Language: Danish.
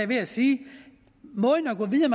ved at sige